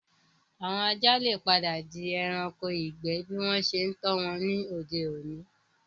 Àwọn ajá le padà di ẹranko ìgbẹ́ bí wọ́n ṣe tọ́ wọn ní òde-òní